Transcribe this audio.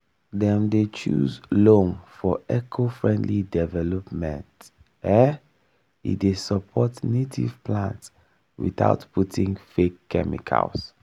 dem dey choose loam for eco-friendly development um e dey support native plants without putting fake chemicals.